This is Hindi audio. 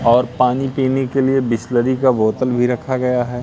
और पानी पीने के लिए बिसलेरी का बोतल भी रखा गया है।